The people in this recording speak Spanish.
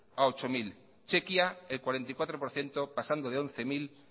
a ocho mil chequia el cuarenta y cuatro por ciento pasando de once mil